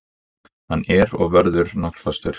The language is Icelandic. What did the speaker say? Hann er og verður naglfastur.